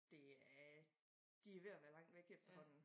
Det er de ved at være langt væk efterhånden